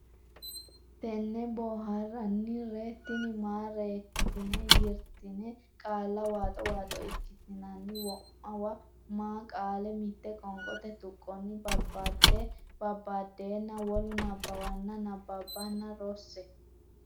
ten boo haar ran ree tin maa reek ten yir ten qaalla waaxo waaxo ikkitinanni wo ma wo ma qaale mitte qoonqote tuqqonni babbadeenna babbaddeenna wolu nabbawanna nabbabbanna rosse.